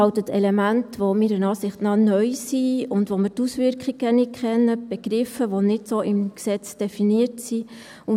Es enthält Elemente, die meiner Meinung nach neu sind, und von denen wir die Auswirkungen nicht kennen, Begriffe, die so nicht im Gesetz definiert sind.